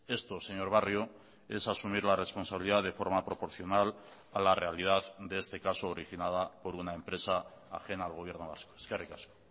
esto señor barrio es asumir la responsabilidad de forma proporcional a la realidad de este caso originada por una empresa ajena al gobierno vasco eskerrik asko